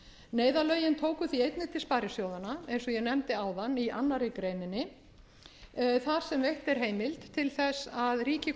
neyðarlögin tóku því einnig til sparisjóðanna eins á ég nefndi áðan í annarri grein þar sem veitt er heimild til þess að ríkið komi